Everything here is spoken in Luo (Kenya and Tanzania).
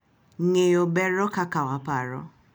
Ng’eyo bero kaka waparo